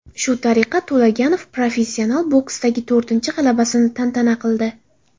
Shu tariqa To‘laganov professional boksdagi to‘rtinchi g‘alabasini tantana qildi.